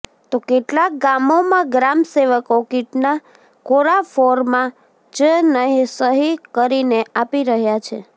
તો કેટલાક ગામોમાં ગ્રામ સેવકો કીટના કોરા ફોર્માં જ સહી કરીને આપી રહ્યા છે